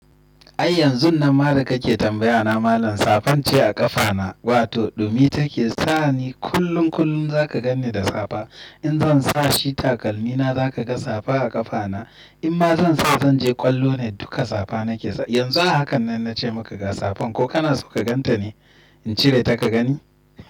Ai yanzun nan ma da kake tambaya na malam safan ce a ƙafa na, wato ɗumi take sa ni kullum kullum zaka gani da safa in zan sa shi takalmi na zaka ga safa a ƙafa na. In ma zan sa zan je ƙwallo ne duka safa nake sa. Yanzun hakan nan na ce maka ga safan ko kana so ka gan ta ne? In cire ta ka gani?